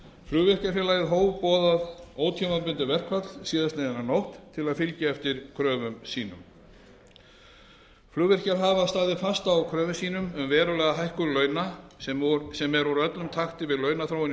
kjarasamningi flugvirkjafélagið hóf boðað ótímabundið verkfall síðastliðnu nótt til að fylgja eftir kröfum sínu flugvirkjar hafa staðið fast á kröfum sínum um verulega hækkun launa sem eru úr öllum takti við launaþróun í